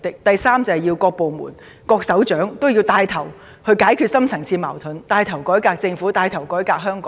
第三，各部門及各部門首長均要牽頭解決社會的深層次矛盾，改革政府和香港。